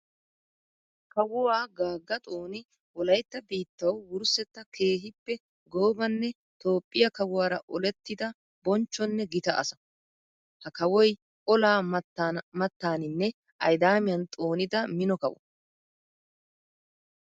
Kawuwa Gaga Xooni wolaytta biittawu wurssetta keehippe goobanne Toophphiyaa kawuwara olettidda bonchchonne gita asaa. Ha kawoy olaa mattaninne ayddamiyan xoonidda mino kawo.